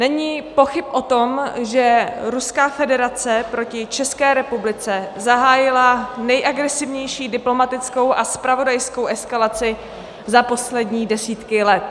Není pochyb o tom, že Ruská federace proti České republice zahájila nejagresivnější diplomatickou a zpravodajskou eskalaci za poslední desítky let.